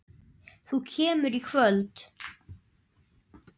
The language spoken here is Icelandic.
Þú kemur í kvöld!